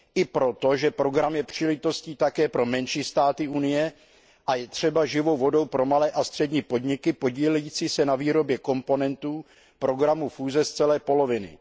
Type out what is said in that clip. I proto, že program je příležitostí také pro menší státy Evropské unie a je třeba živou vodou pro malé a střední podniky podílející se na výrobě komponentů programu fúze z celé poloviny.